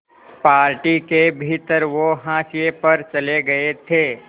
party के भीतर वो हाशिए पर चले गए थे